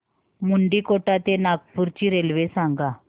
मुंडीकोटा ते नागपूर ची रेल्वे सांगा